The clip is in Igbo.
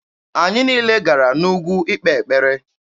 Anyị niile gara n'ugwu ikpe ekpere.